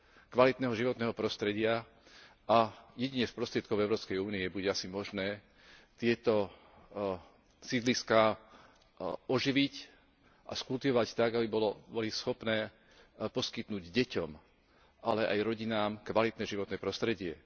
kvalitného životného prostredia a jedine z prostriedkov Európskej únie bude asi možné tieto sídliská oživiť a skultivovať tak, aby boli schopné poskytnúť deťom, ale aj rodinám kvalitné životné prostredie.